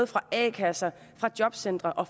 fra a kasser jobcentre og